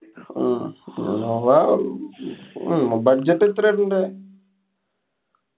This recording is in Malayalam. ങ്ഹാ നോക്കാം. ഹും budget എത്രാ ഇതിന്‍റെ